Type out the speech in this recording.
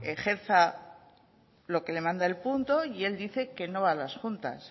ejerza lo que le manda el punto y él dice que no a las juntas